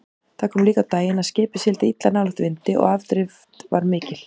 Það kom líka á daginn að skipið sigldi illa nálægt vindi og afdrift var mikil.